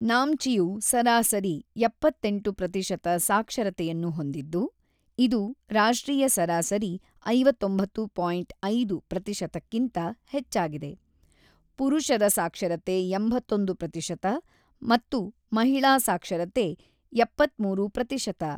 ನಾಮ್ಚಿಯು ಸರಾಸರಿ ಎಪ್ಪತ್ತೆಂಟು ಪ್ರತಿಶತ ಸಾಕ್ಷರತೆಯನ್ನು ಹೊಂದಿದ್ದು, ಇದು ರಾಷ್ಟ್ರೀಯ ಸರಾಸರಿ ಐವತ್ತೊಂಬತ್ತು ಪಾಯಿಂಟ್ ಐದು ಪ್ರತಿಶತ ಪ್ರತಿಶತಕ್ಕಿಂತ ಹೆಚ್ಚಾಗಿದೆ; ಪುರುಷರ ಸಾಕ್ಷರತೆ ಎಂಬತ್ತೊಂದು ಪ್ರತಿಶತ ಮತ್ತು ಮಹಿಳಾ ಸಾಕ್ಷರತೆ ಎಪ್ಪತ್ತ್ಮೂರು ಪ್ರತಿಶತ.